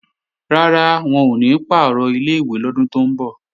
Rárá, wọn ò ní pàrọ̀ ilé-ìwé lọ́dún tó ń bọ̀